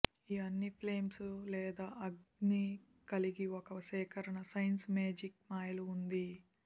ఈ అన్ని ఫ్లేమ్స్ లేదా అగ్ని కలిగి ఒక సేకరణ సైన్స్ మేజిక్ మాయలు ఉంది